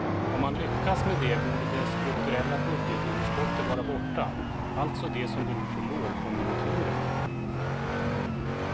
Om man lyckas med det borde det strukturella budgetunderskottet vara borta, alltså det som beror på lågkonjunkturen.